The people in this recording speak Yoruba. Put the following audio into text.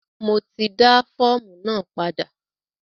Mo ti dá fọ́ọ̀mù náà padà.